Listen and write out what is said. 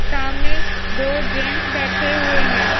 सामने दो जेंस बैठे हुए हैं।